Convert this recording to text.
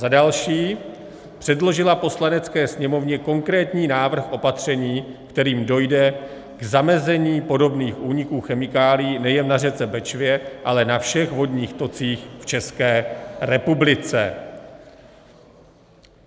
za další, předložila Poslanecké sněmovně konkrétní návrh opatření, kterým dojde k zamezení podobných úniků chemikálií nejen na řece Bečvě, ale na všech vodních tocích v České republice;